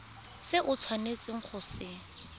se o tshwanetseng go se